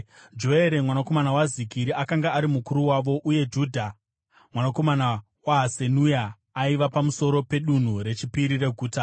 Joere mwanakomana waZikiri akanga ari mukuru wavo, uye Judha mwanakomana waHasenua, aiva pamusoro peDunhu reChipiri reguta.